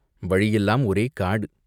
வழியெல்லாம் ஒரே காடு.